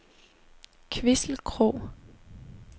Kvissel Krog